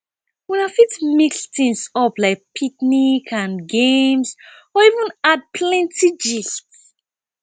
una fit mix things up like picnic and games or even add plenty gist